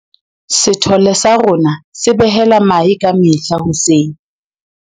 Sethole sa rona se behela mahe ka mehla hoseng.